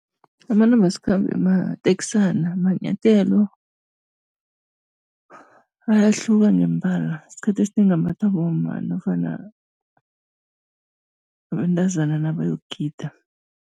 Amanambasikhambe mateksana. Manyathelo, ayahluka ngemibala. Esikhathini esinengi ambathwa bomma namkha abentazana nabayokugida.